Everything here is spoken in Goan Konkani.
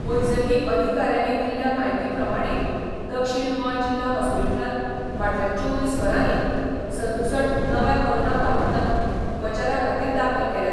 वैजकी अधिकाऱ्यांनी दिल्ल्या म्हायती प्रमाणें दक्षीण गोंय जिल्हो हॉस्पिटलांत फाटल्या चोवीस वरांनी सदुसठ नव्या कोरोना बादितांक उपचारा खातीर दाखल केल्यात.